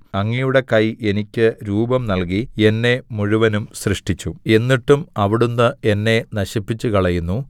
അങ്ങയുടെ കൈ എനിക്ക് രൂപം നൽകി എന്നെ മുഴുവനും സൃഷ്ടിച്ചു എന്നിട്ടും അവിടുന്ന് എന്നെ നശിപ്പിച്ചുകളയുന്നു